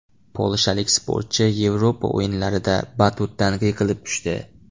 Polshalik sportchi Yevropa o‘yinlarida batutdan yiqilib tushdi .